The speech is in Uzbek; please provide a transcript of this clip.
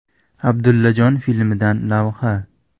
“Abdullajon” filmidan lavha.